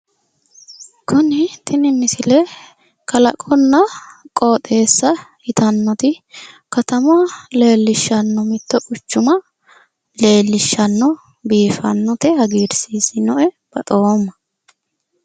Tini misile kalaqonna qooxeessa yitannoti katama leellishshanno. Mittto quchuma leellishshanno. Biifannote. Hagiirsiisinnoe. Baxoomma.